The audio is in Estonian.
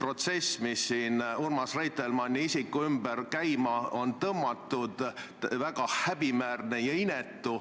protsess, mis siin Urmas Reitelmanni isiku ümber käima on tõmmatud, väga häbiväärne ja inetu.